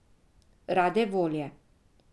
Rade volje.